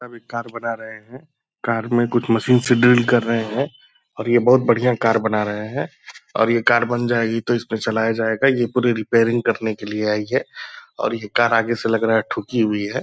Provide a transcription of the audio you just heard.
सभी कार बना रहे हैं। कार में कुछ मशीन से ड्रिल कर रहें हैं और ये बहुत बढ़िया कार बना रहे हैं और ये कार बन जाएगी तो इसको चलाया जायेगा। ये पूरी रिपेयरिंग करने के लिए आई है और ये कार आगे से लग रहा है ठुकी हुई है।